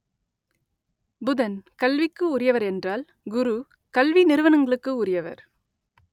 புதன் கல்விக்கு உரியவர் என்றால் குரு கல்வி நிறுவனங்களுக்கு உரியவர்